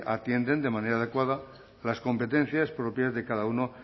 atienden de manera adecuada las competencias propias de cada uno